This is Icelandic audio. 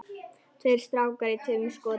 Tveir strákar í tveimur skotum.